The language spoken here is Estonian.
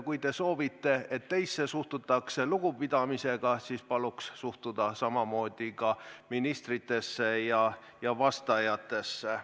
Kui te soovite, et teisse suhtutaks lugupidamisega, siis paluks suhtuda samamoodi ka ministritesse ja vastajatesse.